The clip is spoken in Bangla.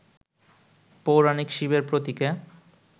পৌরাণিক শিবের প্রতীকে